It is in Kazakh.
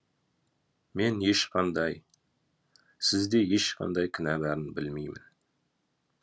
мен ешқандай сізде ешқандай кінә барын білмеймін